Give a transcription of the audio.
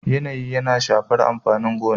yanayi yana shafar amfanin gona